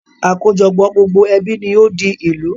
Àkójọpọ̀ gbogbo ẹbí ni ó di ìlú